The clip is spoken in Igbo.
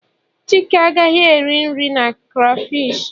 chike agaghị eri nri na crayfish